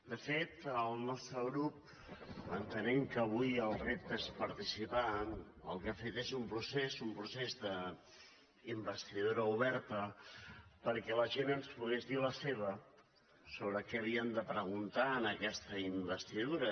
de fet el nostre grup entenent que avui el repte és participar el que ha fet és un procés un procés d’investidura oberta perquè la gent ens pogués dir la seva sobre què havíem de preguntar en aquesta investidura